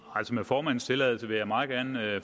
med formandens tilladelse vil jeg meget gerne